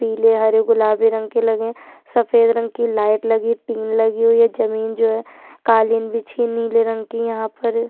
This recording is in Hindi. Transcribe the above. पीले हरे गुलाबी रंग के लगे है सफेद रंग की लाईट लगी है टिन लगी है जमीन जो है कालीन बिछी है निले रंग कि यहाँ पर --